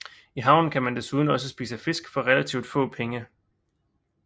I havnen kan man desuden også spise fisk for relativt få penge